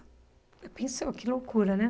Eu pensava, que loucura, né?